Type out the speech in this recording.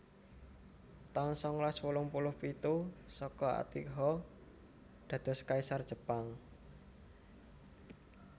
taun sangalas wolung puluh sanga Akihito dados Kaisar Jepang